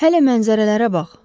Hələ mənzərələrə bax.